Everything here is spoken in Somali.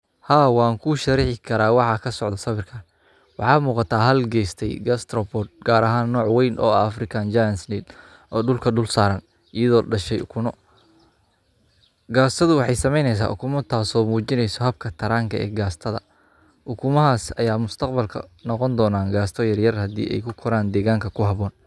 Haa wan kusharixi kara waxa halkan kadaca gasatadhan waxee mujineysa in ee ku koran dwganka kuhabon qasatan ukumaha.